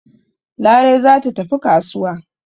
Larai za ta tafi kasuwa.